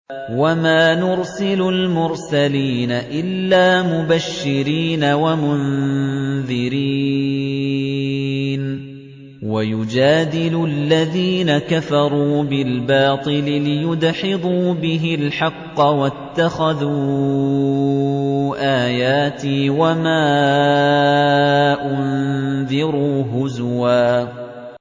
وَمَا نُرْسِلُ الْمُرْسَلِينَ إِلَّا مُبَشِّرِينَ وَمُنذِرِينَ ۚ وَيُجَادِلُ الَّذِينَ كَفَرُوا بِالْبَاطِلِ لِيُدْحِضُوا بِهِ الْحَقَّ ۖ وَاتَّخَذُوا آيَاتِي وَمَا أُنذِرُوا هُزُوًا